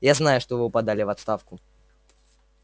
я знаю что вы подали в отставку